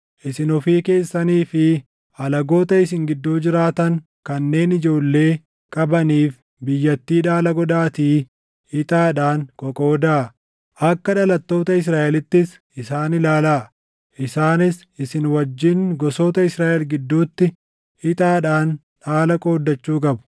Isin ofii keessanii fi alagoota isin gidduu jiraatan kanneen ijoollee qabaniif biyyattii dhaala godhaatii ixaadhaan qoqoodaa. Akka dhalattoota Israaʼelittis isaan ilaalaa; isaanis isin wajjin gosoota Israaʼel gidduutti ixaadhaan dhaala qooddachuu qabu.